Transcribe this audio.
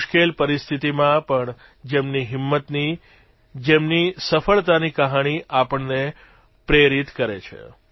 મુશ્કેલ પરિસ્થિતીમાં પણ જેમની હિંમતની જેમની સફળતાની કહાની આપણને પ્રેરિત કરે છે